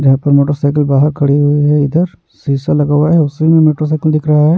जहां पे मोटरसाइकिल बाहर खड़ी हुई है इधर शीशा लगा हुआ है उसी में मोटरसाइकिल दिख रहा है।